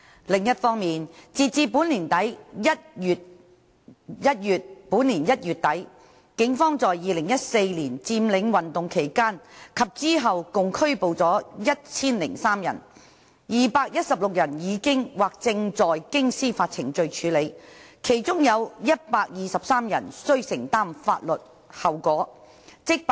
另一方面，截至本年1月底，警方在2014年佔領運動期間及之後共拘捕了1003人 ，216 人已經或正在經司法程序處理，其中有123人須承擔法律後果。